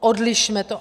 Odlišme to.